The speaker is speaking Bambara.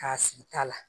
K'a sigi ta la